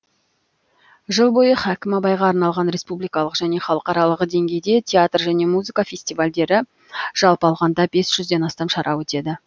жыл бойы хәкім абайға арналған республикалық және халықаралық деңгейде театр және музыка фестивальдері жалпы алғанда бес жүзден астам шара өтеді